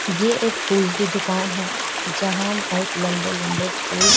जे एक फूल की दुकान है जहाँ बहोत लंबे-लंबे फूल --